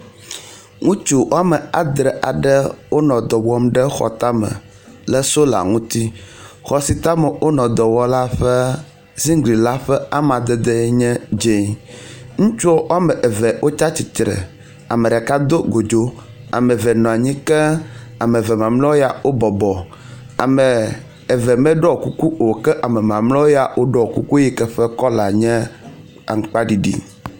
Ŋutsu woame adre aɖe wonɔ edɔ wɔm le xɔ aɖe tame le sola ŋuti. Xɔ si tame wonɔ dɔ wɔm la ƒe zigli la ƒe amadede nye dze. Ŋutsuɔ woame eve wotsatsitre, ame ɖeka do godzo, ame eve nɔ anyi ke ame eve mamlewo ya wobɔbɔ. Ame eve meɖɔ kuku o, kea me mamlɛwo ya woɖɔ kuku yike ƒe kɔla nye aŋkpaɖiɖi.